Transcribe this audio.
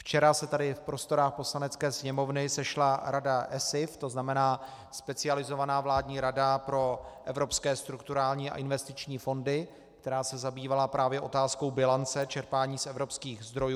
Včera se tady v prostorách Poslanecké sněmovny sešla Rada ESIF, to znamená specializovaná vládní Rada pro evropské strukturální a investiční fondy, která se zabývala právě otázkou bilance čerpání z evropských zdrojů.